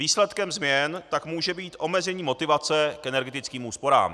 Výsledkem změn tak může být omezení motivace k energetickým úsporám.